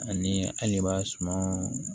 Ani hali b'a suma